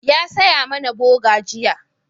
Ya saya mana boga jiya